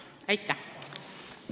Aitäh!